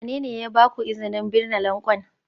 Wane ne ya ba ku izinin binne lanƙwan?